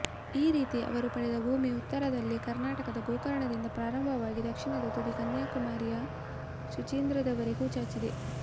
ಈ ರೀತಿ ಅವರು ಪಡೆದ ಭೂಮಿ ಉತ್ತರದಲ್ಲಿ ಕರ್ನಾಟಕದ ಗೋಕರ್ಣದಿಂದ ಪ್ರಾರಂಭವಾಗಿ ದಕ್ಷಿಣದ ತುದಿ ಕನ್ಯಾಕುಮಾರಿಯ ಸುಚೀಂದ್ರಂವರೆಗೆ ಚಾಚಿದೆ